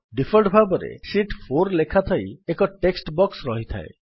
default ଭାବରେ sheet 4 ଲେଖାଥାଇ ଏକ ଟେକ୍ସଟ୍ ବକ୍ସ ରହିଥାଏ